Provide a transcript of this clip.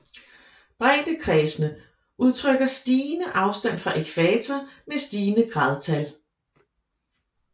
Breddekredsene udtrykker stigende afstand fra ækvator med stigende gradtal